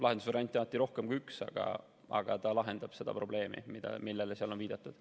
Lahendusvariante on alati rohkem kui üks, aga ta lahendab seda probleemi, millele seal on viidatud.